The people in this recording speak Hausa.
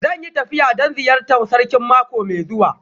Zan yi tafiya don ziyartar Sarkin mako mai zuwa